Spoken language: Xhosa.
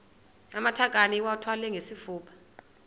amatakane iwathwale ngesifuba